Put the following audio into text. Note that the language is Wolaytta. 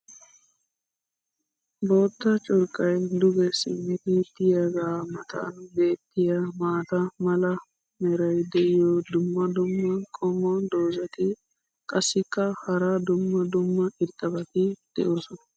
bootta curqqay duge simmidi diyaagaa matan beetiya maata mala meray diyo dumma dumma qommo dozzati qassikka hara dumma dumma irxxabati doosona.